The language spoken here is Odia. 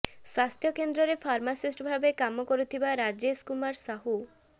ସ୍ବାସ୍ଥ୍ୟକେନ୍ଦ୍ରରେ ଫାର୍ମାସିଷ୍ଟ ଭାବେ କାମ କରୁଥିବା ରାଜେଶ କୁମାର ସାହୁ